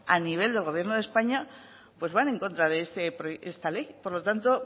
a nivel del gobierno de españa pues van en contra de esta ley por lo tanto